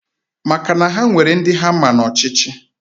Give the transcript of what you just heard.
Maka na ha nwere ndi ha ama no na ochichi...